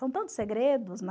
São tantos segredos, né?